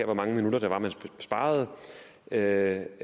hvor mange minutter man sparer per